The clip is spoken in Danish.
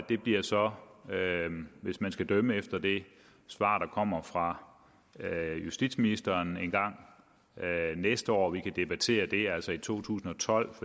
det bliver så hvis man skal dømme efter det svar der kommer fra justitsministeren engang næste år at vi kan debattere det altså i to tusind og tolv